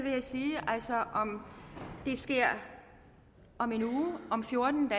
altså at om det sker om en uge om fjorten